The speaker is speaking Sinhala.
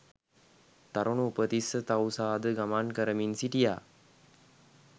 තරුණ උපතිස්ස තවුසාද ගමන් කරමින් සිටියා